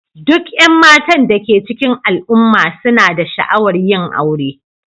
Duk 'yan matan da ke cikin al'umma suna da sha'awar yin aure